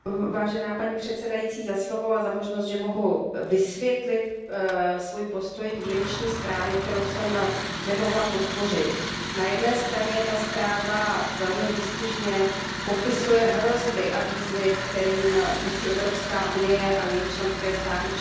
Paní předsedající, děkuji za slovo a za možnost, že mohu vysvětlit svůj postoj k výroční zprávě, kterou jsem nemohla podpořit. Na jedné straně ta zpráva velmi výstižně popisuje hrozby a výzvy, kterým musí Evropská unie a její členské státy čelit.